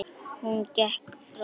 Hún gekk fram.